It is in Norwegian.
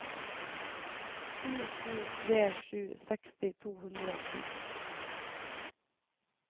sju sju tre sju seksti to hundre og ti